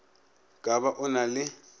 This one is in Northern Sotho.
ka ba o na le